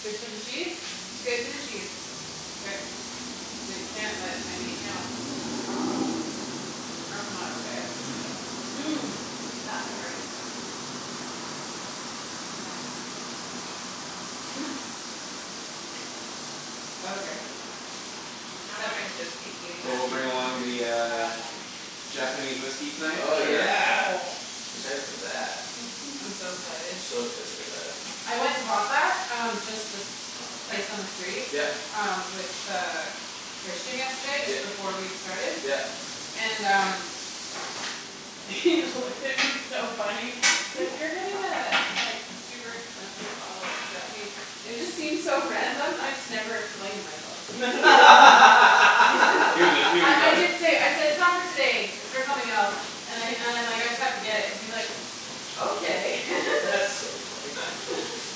Good for the cheese? Good for the cheese. K. They can't let I mean No. That's not okay. Mm- mm, That havarti. That is yummy. Okay, acceptable. So we'll bring along the uh Nah. Japanese whiskey tonight for Oh sure. yeah. Excited for that. Mhm. I'm so excited. So excited for that. I went and bought that um just this place on the street Yep. um with uh Christian yesterday just Yep, before we started yep. and um He looked at me he's so funny. He's like, "You're getting a like super expensive bottle of Japanese". And it just seemed so random and I just never explained myself. I nearly I bought it? did say, I said, "It's not for today. It's for something else." And I and I'm like, "I just have to get it." and he's like, "Okay." That's so funny.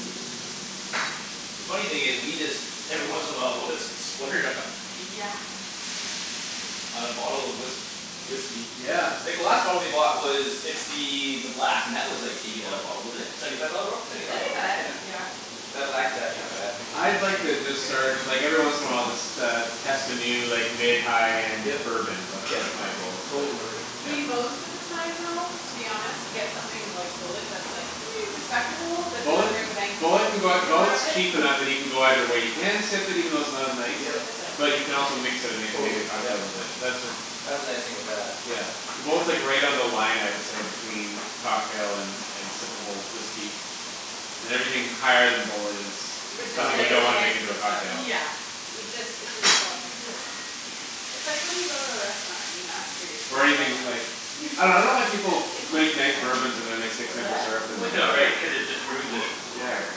Oops. The funny thing is we just every once in a while we'll just splurge on Yeah. On a bottle of whisk- whiskey. Yeah. Like the last bottle we bought was it's the the black and that was like eighty Yeah. dollar a bottle wasn't it? Seventy five dollar bottle? Seventy five Seventy dollar bott- five. Yeah. Yeah. That black is actually not bad. I'd like uh to It's start good. like every once in a while just uh test a new like mid high end Yep bourbon is that's yep that's my that's ex- goal it's like totally worth it. yeah We most of the time though to be honest Yeah. get something like Bulleit that's like respectable but Bulleit doesn't break the bank cuz we Bulleit can can go consume more of Bulleit's it cheaper now that you can go either way you can sip it even though it's not I'm nice. gonna Yep. leave this out But because you we can need also it mix it and again. make Totally, amazing yep. cocktails with it that's uh That's the nice thing with that. Yeah. Yeah. Bulleit's right on the line I would say between cocktail and and sippable whiskey. And everything higher than Bulleit is R- Is kinda something you like disgrace don't to wanna mix make into a with stuff. cocktail. Yeah. It just it's We insulting. just can't. It's like when you go to a restaurant and you ask for your Or steak well using done. like I dunno I don't like What's people who make nice bourbons and then they the point? stick What's simple that? syrup in them What's the Yeah right right? point? cuz it just I can't ruins it. Yeah. hear.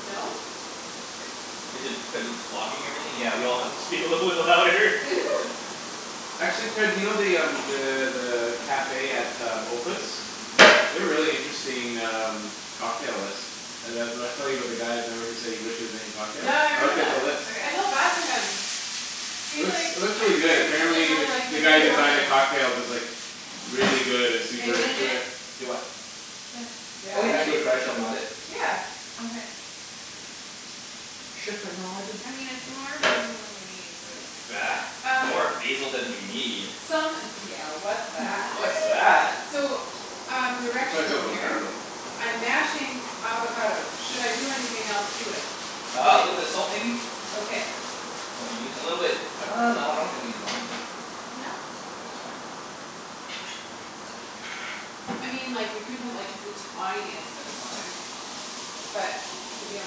No? Is it cuz it's blocking everything? Yeah we all have to speak a little bit louder Actually, Ped you know the um the the cafe at um Opus? They have a really interesting um cocktail list Uh the w- I was telling you about the guy remember who said he wished he was making cocktails? Yeah I I looked remember at the that. list. I Okay. felt bad for him. It He's like, looks it looks really "I'm good. here because I Apparently the really like the guy who making designs the cocktails." cocktails is like Really good and Are super you gonna do into it. it? Do what? This. Oh Yeah? yeah We I should can go try a like chip in couple. a bit. Yeah. Okay. Chiffonade I mean it's more basil than we need, but Bah, Um more basil than we need? Some d- yeah what's that? What's What? that? So um I plan to direction fill up in on here. garlic. I'm mashing avocado. Should I do anything else to it? Uh a Like, little bit of salt maybe? okay. That's all you need a little bit Pepper. uh no I don't think we need lime in it. No. Think that's fine. I mean like we could put like the tiniest bit of lime. But if you don't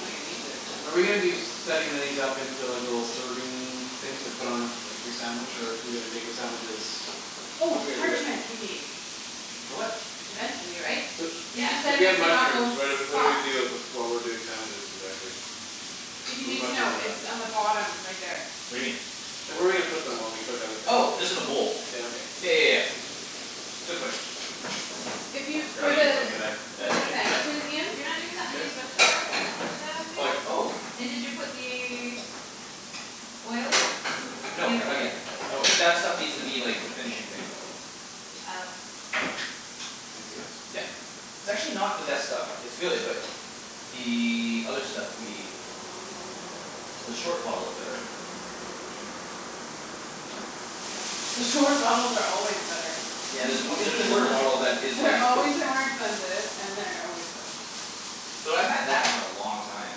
think it needs it Are we gonna then be setting these up into like little serving things to put on a like your sandwich or are we gonna make the sandwiches How're Oh, we gonna do parchment it? we need. For what? Eventually, right? So Cuz Yeah. you so said we we have need to not go mushrooms. What are what do we soft. do while we're doing sandwiches exactly? If you When the need to mushrooms know, are it's done. on the bottom right there. What do you mean? Like where are we gonna put them while we cook other Oh things just in in a there? bowl. Yeah Yeah okay. yeah yeah yeah. Good question If you for the for that the big. sandwiches, Ian You're not doing Is the this onions with his? the gar- with the Like thing? oh And did you put the Oil in? No The other not oil. yet. That was that stuff needs to be like a finishing thing. Oh. Can I see this? Yep. It's actually not the best stuff. It's good but The other stuff we The short bottle is better. The short bottles are always better. Yeah there's a on- there's a shorter bottle that is They're like always way more expensive and they're always better. Though I've had that for a long time.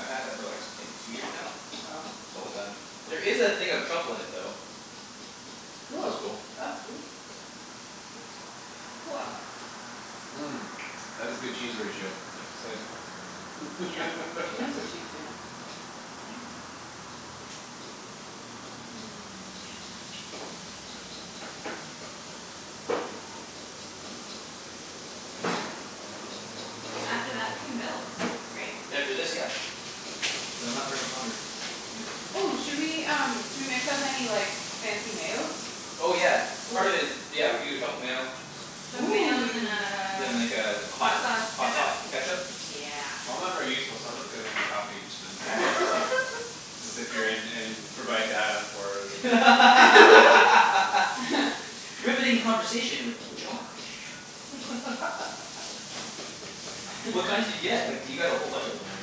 I've had that for like I think two years now? Wow. It's almost done. There is a thing of truffle in it though. That's Cool. cool. That's cool. That is a good cheese ratio I have to say. Yep. She knows what she's doin'. After that we can build, right? After this, yeah. So not very much longer. Okay. Oh, should we um should we mix up any like fancy mayos? Oh yeah. Oh. Part of it is. Yeah we can do a truffle mayo. Truffle mayo and then Then like a a hot hot sauce hot ketchup? sauce ketchup Yeah. I'm not very useful so I'm just gonna make a coffee and then All drink right. it. It's appearin' and provide data for the internet. Riveting conversation with Josh. What kind did you get? Like du- you got a whole bunch in there.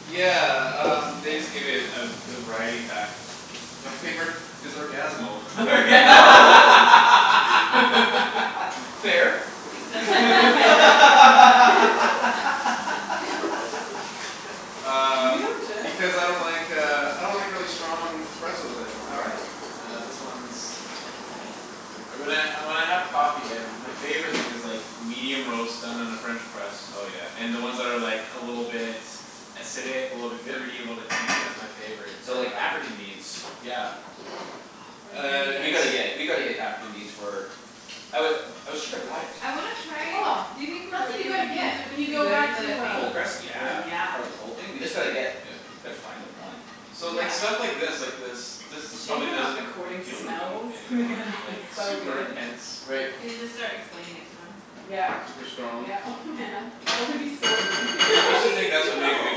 Yeah um they just give it a a variety pack. My favorite is Orgasmo. Orga- Fair. The favorite Were Um you and Jeff? because I don't like uh I don't like really strong espressos anymore. All right. Uh this one's Uh when I uh when I have coffee my favorite thing is like medium roast done in a french press. Oh yeah. And then ones that are like a little bit Acidic, a little bit fruit a Yep. little bit tangy. That's my favorite So type of like African coffee. beans. Yeah. Ah Uh Burundi We it's gotta beans. get we gotta get African beans for oh we shoulda brought it. I wanna Yeah. try Oh, do you think that's what you Burundi gotta wo- beans get would when you be go good in back to the thing? uh Cold press? Yeah. Yeah? Yeah. Part of the cold thing? We just gotta get Yeah. Gotta find them, one. So like Yeah. stuff like this like this this It's a just shame probably we're not doesn't recording appeal to me smells anymore because like it's so super good. intense. Right. And you just start explaining it to them. Yeah Super strong. yeah oh man that would be so mean I used to think that's what made a good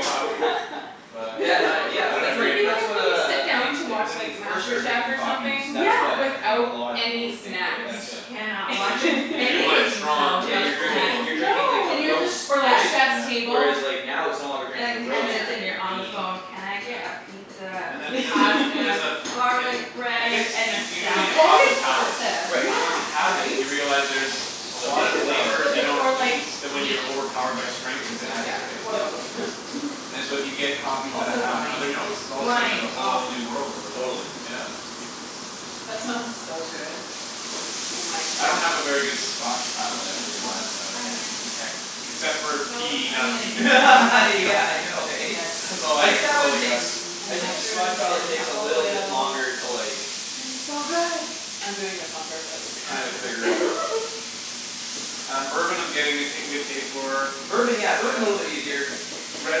coffee. But Yeah no I yeah don't that's It what agree would be anymore. that's like what when you uh sit I down think to Like watch when you like first Master start Chef drinking or coffees something Yeah. that's what I think a without lot of people any would think snacks. right You that's Yeah. cannot Where watch you you're Like you any drinking want it cooking strong show cuz Yeah without you're you're drinking cool. you're snacks. No. drinking like the Then you're roast just Or like right? effed Chef's Yeah. Table. Whereas like now it's no longer drinking And like You the ten roast you're minutes can't. and drinking you're the on the bean. phone, "Can I get a Yeah. pizza, And that some there's a fl- there's pasta, a f- garlic and I bread, guess and you a you do need salad?" It's a coffee always palate, pasta, but Right. once you Yeah. have it right? you realize there's A So lot of much more, flavors you yes. don't Or like taste when meat. you're overpowered by strength and Exactly, Yeah. bitterness, right? Or yep. both. And so if you get coffee that Also have other wine. notes All of a sudden there's Wine, a oh. whole new world of Totally. The yeah. wine. That smells so good. Oh my I don't have a very good goodness. scotch palate I've Oh, realized that I can't onions. detect Except for The a smell of peaty and not onion peaty is my favorite. Yeah I know eh? Yes. That's It's all I I think that that's all one I got. takes I And think the scotch mushrooms, and palate takes a truffle little bit oil. Uh longer it's to like going to be so good. I'm doing this on purpose To kinda figure out. Um bourbon I'm getting a ta- good taste for Bourbon yeah Yeah. bourbon's a little bit easier. Red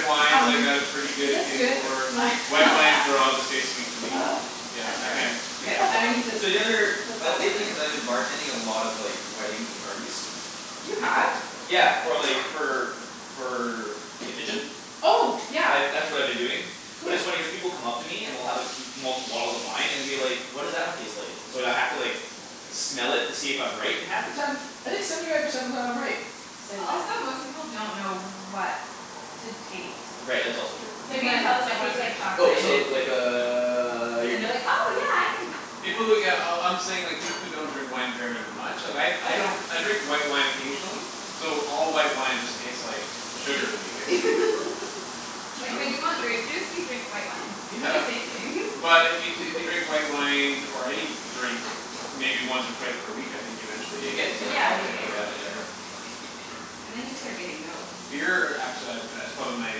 wines I Um, got a pretty is good this taste good? for My Oh White wines they're all yeah. just taste sweet to me. Yeah That's I can't perfect. K, detect a now I lot of need to differences. So the other put like salt in lately it. cuz I've been bartending a lot of like weddings and parties You have? Yeah for like for for the kitchen? Oh yeah, I've that's what I've been doing But it's funny cuz cool. people come up to me and will have m- multiple bottles of wine and will be like, "What does that one taste like?" And so I'd h- have to like smell it to see if I'm right and half the time I think seventy five percent of the time I'm right. Say Also when. most people don't know what to taste. Right that's also true. Say You can when, tell them it someone. tastes like Oh chocolate and this'll it's like uh you're And they're good. like, "Oh yeah I Yeah. can". Yeah. People who yeah oh I'm saying people who don't drink wine very much. Like I Oh I yeah. don't I drink white wine occasionally So all white wine just taste like Sugar to me Shitty basically. It's Uh Like when true. you want th- grape juice you drink white wine. They're the Yeah. same thing But if you t- if you drink white wine or any Drink maybe once or twice per week I think eventually You you could get Yeah, you get start a palate you for it picking get it yeah out for yeah. sure. And then you start getting notes. Beer actually I've go- it's probably my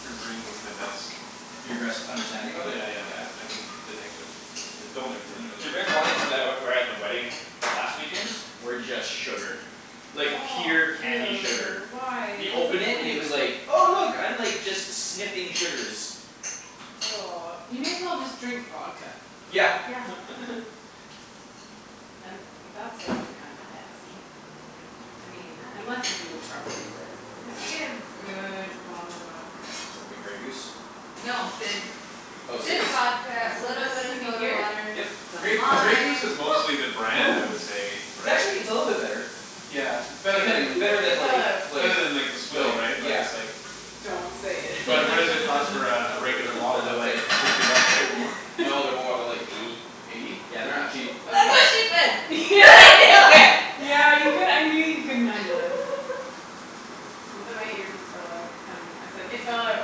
for drink that's my best. Your best Yeah understanding of it? yeah Yeah. yeah I can detect the different different Though flavors in th- that really the red good. wines that were at the wedding last weekend were just sugar. Like pure candy sugar. Ew, why You what's the open it and it point? was like Oh look I'm like just sniffing sugars. You may as well just drink vodka Yeah. Yeah. And that stuff's kinda nasty I mean unless you do it properly but Unless you get a good bottle of vodka. Some good Grey Goose? No, Sid's Oh Sid's Sid's vodka, So little this bit of can be soda here? water, Yep. some Grey Grey Goose lime. is mostly the brand I would say, It's right? actually it's a little bit better. Yeah, it's better Pretending i- than better It than fell like out. It's like better than like the swill right? like But yeah it's like Don't say But what does it it. cost for a regular bottle? They're That's like like hun- sixty bucks right? Or more? No they're more they're like eighty. Eighty? Yeah, they're not cheap. That's Okay what she Yeah. said do yeah it. yeah you cou- I knew you couldn't handle it. The my earpiece fell out. Um I said it fell out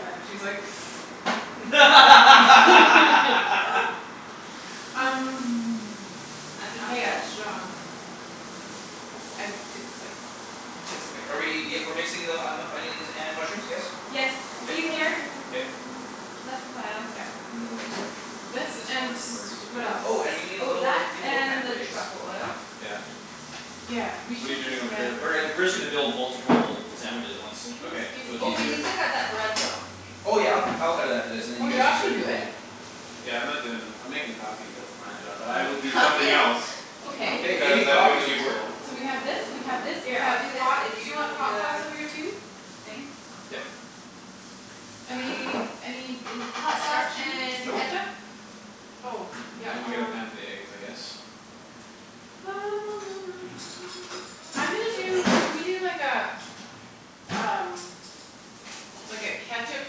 and she's like Um I'm not mayo. that strong. It's I it's like just Are we barely. y- we're mixing the onions and mushrooms, yes? Yes, I'm it's K sure easier. Ian Um K. um. less pile. Okay. And then we'll just have to quickly This clean this and one and we're good to what go. else? Oh and we need a Oh, little do that you have a little pan and for the eggs? truffle oil. Yeah. Yeah, we What're you should just doing over here get. We're getting basically? we're just gonna build multiple sandwiches at once. We can Okay. just do So it's Oh these. we easier. need to cut that bread though. Oh yeah I'll ca- I'll cut it after this and then you Or guys can Josh can start do it. building. Yeah I'm not doin' I'm makin' coffee that's my job but I will do Oh Coffee? somethin' else. Okay. Hey, Cuz I making like coffee's feeling important. useful. So we have this we have this we Yeah I'll have do this hot and do you want you the do hot sauce the over here too? thing? Yep. Any any Hot sauce instructions? and Nope. ketchup? Oh yeah I'm gonna get a pan um for the eggs, I guess. I'm gonna Oh, do bagels. can we do like uh Um like a ketchup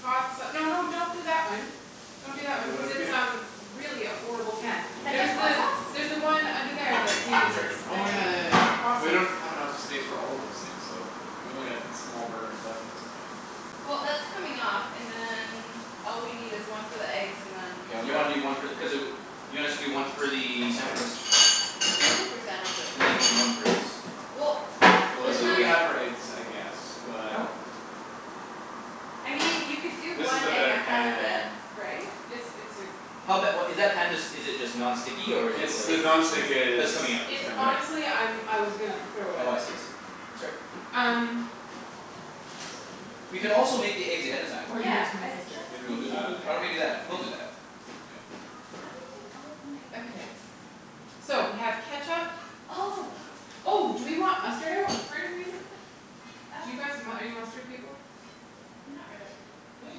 hot sa- no no don't do that one. Well Don't do that wait one what cuz did we it's um do? really a horrible pan. Ketchup There's hot the sauce? there's the one under there that we I'm use sorry. it. Oh yeah yeah yeah we Awesome. don't have enough space for all of those things though. We only got small burners left at this point. Well that's coming off and then all we need is one for the eggs and then K I'll You wanna grab do one for the cuz uh you want us to do one for the sandwiches? Two for sandwiches. And then we need one for eggs. Well K Cuz we're it's it's really not really cutting not for eggs I guess Oh but I mean you could do This is one a egg better ahead of it, pan right? It's it's a Hell bet what is that pan just is it just non It's stick or is it It's like just the non-stick Oh is it's it's coming coming out out. It's right honestly I'm I was gonna throw it Oh I out. see I see. That's all right. Um. We can also make the eggs ahead of time. Or give it to Yeah my I sister Maybe we'll do just that. Why said don't we do that? that We'll do that. Ian K. How do you take all of my Okay. ideas? So we have ketchup. All of them. Oh do we want mustard out for any reason? Do you Uh. guys mu- are you mustard people? Not really. Yeah you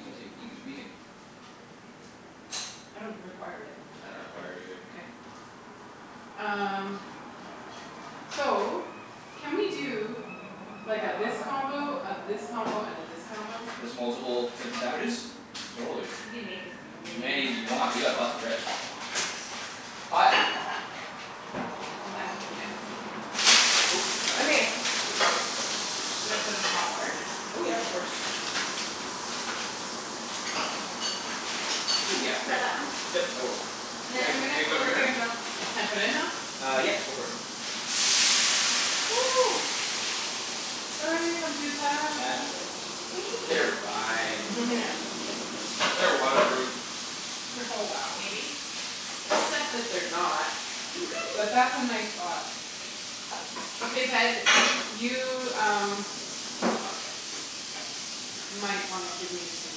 can take you can we can I don't require it. I don't require it either. K. Um so can we do Like a Hot hot this hot combo, a this combo and a this combo? Just multiple types of sandwiches? Totally. We can make as Many many as you want, we got lots of bread. Hot. That yeah. Oh not yet Okay. I'm just gonna wait here a second. Should I put in hot water? Oh yeah, that works. Oh yeah Got right. that one? Yep, I will. And then I'm Eg- gonna eggs come over over here and here? build. Can I put it in now? Uh yep go for it. Sorry computah That's all right. They're fine. Yeah. They're waterproof. Oh wow. Maybe. Except that they're not. But that's a nice thought. Okay Ped, you um Might wanna give me some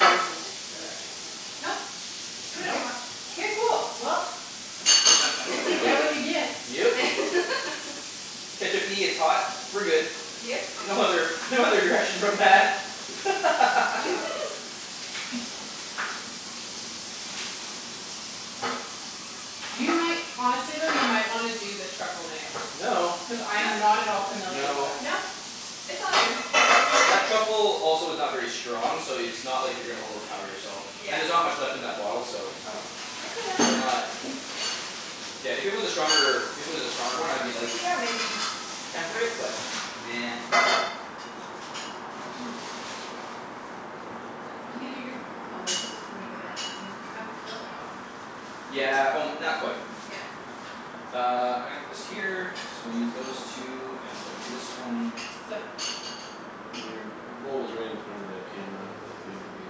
basic direction. Nope, do whatever you Nope. want. K cool well You get what you get. Yep. ketchup-y, it's hot. We're good. Yep. No other no other direction from that You might honestly though you might wanna do the truffle mayo. No Cuz I No am not at all familiar with No it. Nope, it's all you. That truffle also is not very strong so it's not like you're gonna overpower yourself. Yeah. And there's not much left in that bottle so Oh. Okay then. We're not. Yeah, if it was a stronger if it was a stronger one I'd be like, "Yeah maybe". Temper it, but nah. You can get your oh there's still quite a bit left isn't you'll probably kill the bottle. Yeah o- not quite. Yeah. Uh I'm gonna put this here so we'll use those two and we'll do this one Sup? Your bowl is right in front of the camera. That maybe be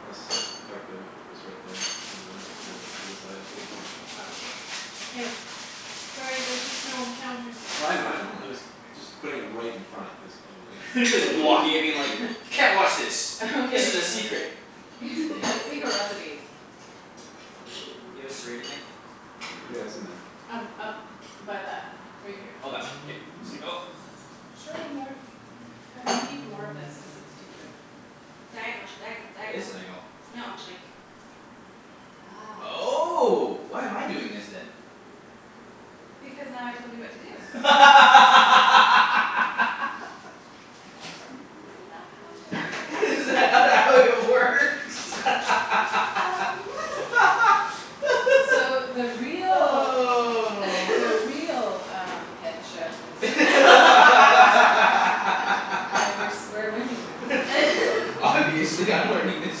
less effective if it was right there rather than a little bit to the side. Oh. K. Sorry, there's just no counter space. Well I know I know. Yeah it's I'm right. just just putting it right in front is probably Just blocking it being like. "Can't watch this. This is a Okay secret." okay. Yeah secret recipe. Let's see. You have a serrated knife? Yeah, it's in there. Um up by that right here. Oh that one K. Mhm. sank O. Serrated knife. Okay. They need more of this cuz it's too good. Diagonal diagonal That is diagonal. diagonal. No like That's Oh why am I doing this then? Because now I told you what to do. Isn't that how it works? Is that not how it works? Um So the real the real um head chef is uh Aight, we're s- we're learning this. Obviously I'm learning this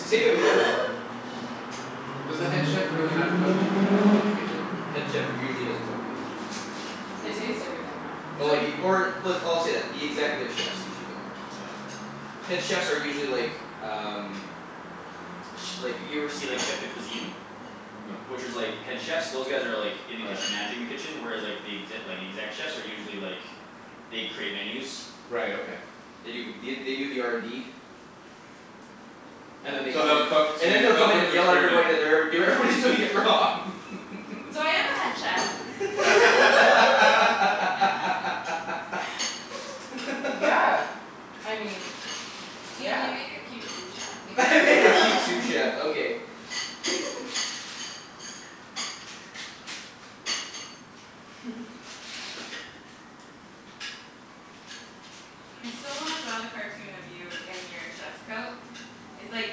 too Does the head chef really not cook in the kitchen? Head chef usually doesn't cook in the kitchen. They taste Mhm. everything though. Oh like if you or w- I'll say that executive chefs usually don't. Yeah, okay. Head chefs are usually like um Ch- like if you ever see like chef de cuisine. No. Which is like head chefs those guys are like Oh In the kitchen yeah. managing the kitchen whereas like The exe- the exec chefs are usually like They create menus Right, okay. They do the they do the R N D And then they So come in they'll and cook And then to they'll they'll come in cook and to yell at experiment everybody then. that they're ever- do- everybody's doing it wrong So I am a head chef. Yeah, I mean, Ian yeah. you make a cute sous chef. I make a cute sous chef okay. I still wanna draw the cartoon of you in your chef's coat. It's like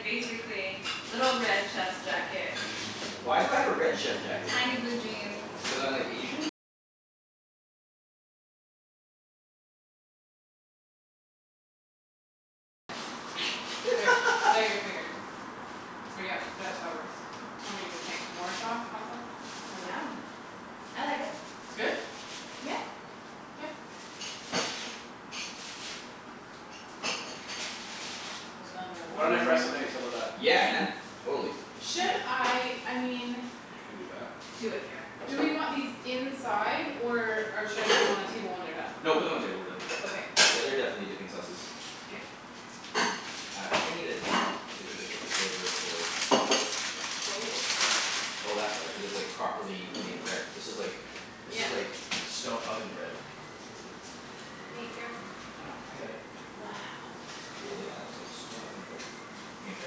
basically little red chef's jacket Tiny blue jeans K, put out your finger. Or yeah that that works. Tell me what you think. More sauce? Hot sauce? Or no? Yum. I like it. It's good? Yeah. K. Another Why one. don't I fry some eggs? How 'bout that? Yeah Yeah. man, totally. Should Okay. I I mean I can do that. Do it, Kara. Do we want these inside or uh should I put them on the table when they're done? No put them on the table when they're Okay. done. Yeah they're definitely dipping sauces. K. Uh I think I needed to either flip this over or Oh. Oh that's why cuz it's like properly made bread. This is like This Yeah. is like stone oven bread. Hey, careful. I know, I got it. Wow. Cool yeah it's like stone oven bread. You gonna try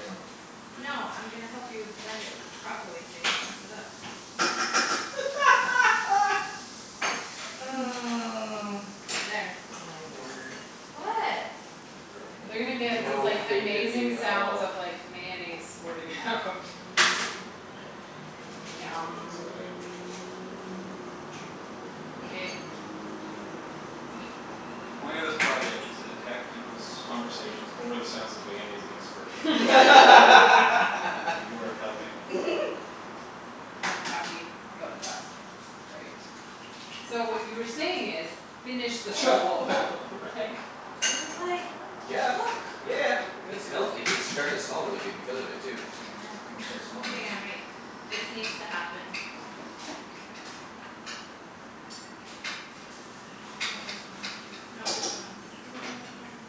some? No I'm gonna help you bend it properly so you don't mess it up. There. My word. What? Girlfriend They're gonna has get these no like faith in me amazing at sounds all. of like mayonnaise squirting out It's Yum. aight. K. The point of this project is to detect peoples' conversations over the sounds of mayonnaise being squirted out. And you are helping. I'm happy about that. That's great. So what you were saying is, "Finish this truffle Oh oil", right? There's like, Yeah yeah look yeah Good it good. smells g- like it's starting to smell really good because of it too. I can start Yeah. smelling Hang this. on, wait. This needs to happen. No this one. No this one. I don't know which one.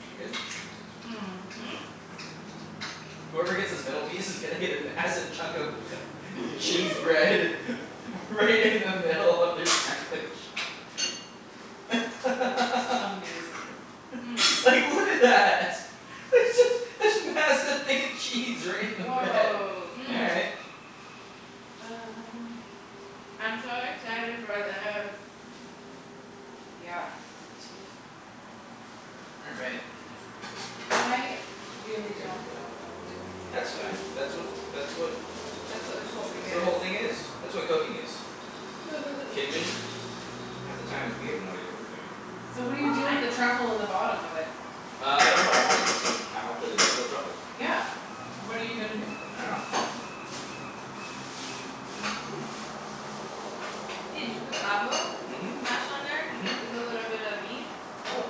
Is it good? Mhm. Whoever gets this middle piece is gonna get a massive chunk of Cheese bread Right in the middle of their sandwich. That's amazing. Like look at that. There's this this massive thing of cheese right in the bread. Woah. All right. Um. I'm so excited for this. Yeah, me too. You're right. I really Weird don't cut. know what I'm doing here. That's fine. That's what that's what That's what this whole That's thing what is. the whole thing is. That's what cooking is. Kidding me? Half the times we have no idea what we're doing. So what do you Well, do I with the know. truffle in the bottom of it? Uh I don't know. I want it. Somehow. Cuz it's real truffle. Yeah, what are you gonna do with it? I dunno Ian, did you put the avo? Mhm. Mhm. Mash on there? With a little bit of meat? Oh.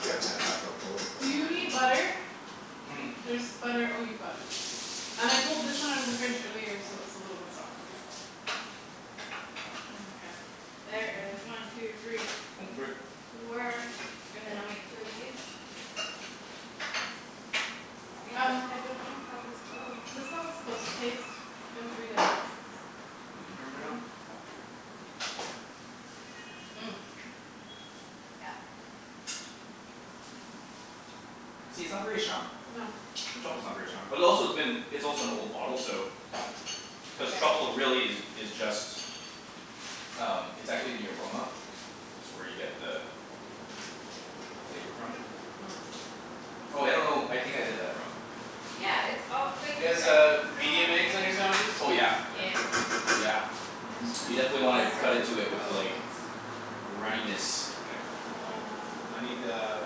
We haven't had a hot cup of Kahlua for a Do long you time. need Mm- butter? mm. There's butter oh you've got it. And I pulled this one out of the fridge earlier so it's a little bit softer. Mkay. There is one two three Oh f- sorry. four and then I'll make two of these. Ian uh I don't know how this goes. Is this how it's supposed to taste? Feel free to. These in here right off. Yeah. See, it's not very strong. No. The truffle's not very strong. But also it's been it's also an old bottle so Cuz Yeah. truffle really is is just Um it's actually the aroma. That's where you get the The flavor from. Oh I don't know. I think I did that wrong. Yeah, it's all You like i- guys I need uh to put it all medium back eggs on together your now. sandwiches? Oh yeah Yeah. Yeah. yeah. I'm just gonna I You steal don't definitely wanna know where cut this into it off with goes. like runniness. K Uh um I need a